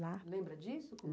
Lembra disso?